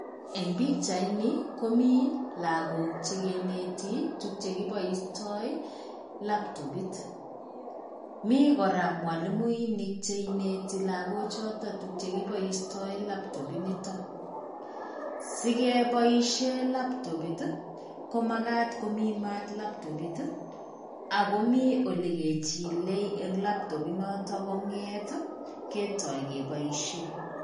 Eng' pichaini, komii lagok che kineti tuguk chekiboisioto laptopit. Mi koraa mwalimuinik che ineti lagok choton tuguk chekiboisioto laptopit inito. Sikeboishe laptopit, ko makat komi maat laptopit, ago mi ole kechile en laptopit noto kong'eet ketooi keboisien.